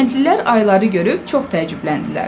Kəndlilər ayıları görüb çox təəccübləndilər.